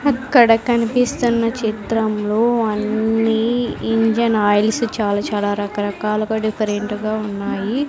అక్కడ కనిపిస్తున్న చిత్రంలో అన్నీ ఇంజన్ ఆయిల్స్ చాలా చాలా రకరకాలగా డిఫరెంట్ గా ఉన్నాయి.